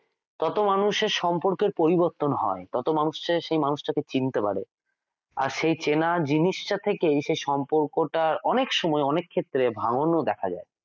ততো মানুষের সম্পর্কের পরিবর্তন হয় ততো মানুষ চায় সেই মানুষটা কে চিনতে পারে আর সেই চেনা জিনিসটা থেকেই সম্পর্কটা অনেক সময় অনেক ক্ষেত্রে ভাঙ্গন ও দেখা যায়।